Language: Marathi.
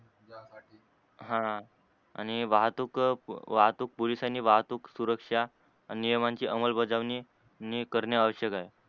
हा आणि वाहतूक वाहतूक पोलिसांनी वाहतूक सुरक्ष्या आणि नियमांची अमलबजावणी करणे आवश्यक आहे.